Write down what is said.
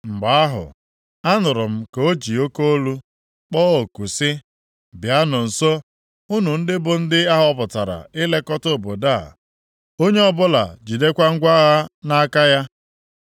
Mgbe ahụ, a nụrụ m ka o ji oke olu kpọọ oku sị, “Bịanụ nso, unu bụ ndị ahọpụtara ilekọta obodo a, onye ọbụla jidekwa ngwa agha nʼaka ya.”